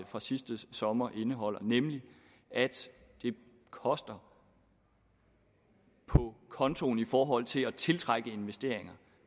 fra sidste sommer indeholder nemlig at det koster på kontoen i forhold til at tiltrække investeringer